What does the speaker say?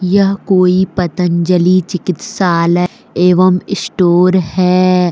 यह कोई पतंजलि चिकित्सालय एवं स्टोर है।